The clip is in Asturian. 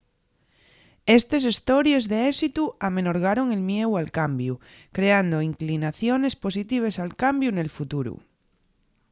estes hestories d’éxitu amenorgaron el mieu al cambiu creando inclinaciones positives al cambiu nel futuru